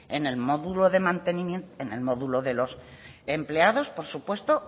en el módulo de los empleados por su puesto